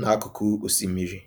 n'akụkụ osimiri.